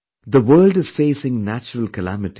The world is facing natural calamities